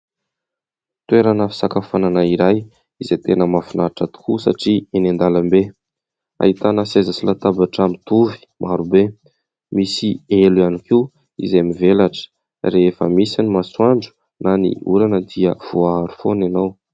Toerana fisakafoanana iray izay tena mahafinaritra tokoa satria enỳ an-dalambe. Ahitana seza sy latabatra mitovy maro be. Misy elo ihany koa izay mivelatra rehefa misy ny masoandro na ny orana dia voa aro foana ianao.